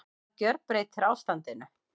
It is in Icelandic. Það gjörbreytir ástandinu